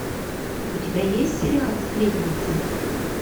у тебя есть сериал сплетница